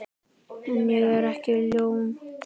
En ég er líka ljón.